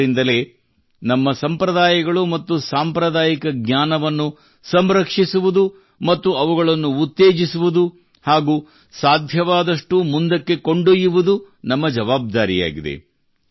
ಆದ್ದರಿಂದಲೇ ನಮ್ಮ ಸಂಪ್ರದಾಯಗಳು ಮತ್ತು ಸಾಂಪ್ರದಾಯಿಕ ಜ್ಞಾನವನ್ನು ಸಂರಕ್ಷಿಸುವುದು ಮತ್ತು ಅವುಗಳನ್ನು ಉತ್ತೇಜಿಸುವುದು ಹಾಗೂ ಸಾಧ್ಯವಾದಷ್ಟೂ ಮುಂದಕ್ಕೆ ಕೊಂಡೊಯ್ಯುವುದು ನಮ್ಮ ಜವಾಬ್ದಾರಿಯಾಗಿದೆ